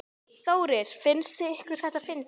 Þórir: Finnst ykkur þetta fyndið?